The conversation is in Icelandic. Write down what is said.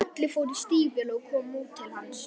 Gulli fór í stígvél og kom út til hans.